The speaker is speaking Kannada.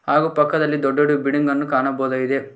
ಹಾಗು ಪಕ್ಕದಲ್ಲಿ ದೊಡ್ಡದೊಡ್ಡು ಬಿಡ್ಡಿಂಗ್ ಅನ್ನು ಕಾಣಬಹುದಾಗಿದೆ.